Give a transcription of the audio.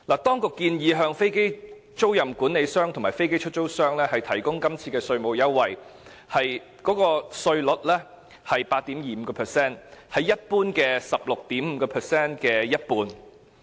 當局今次建議向飛機租賃管理商和飛機出租商提供的稅務優惠，稅率是 8.25%， 為一般稅率 16.5% 的一半。